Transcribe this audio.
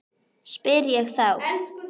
spyr ég þá.